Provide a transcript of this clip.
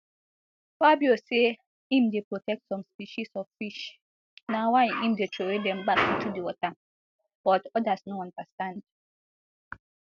fabio say im dey protect some species of fish na why im dey throw dem back into di water but odas no understand